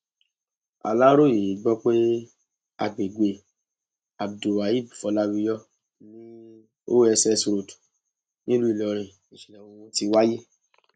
aláròye gbọ pé agbègbè abdulwaheb fọláwíyọ ni oss road nílùú ìlọrin níṣẹlẹ ohun tí wáyé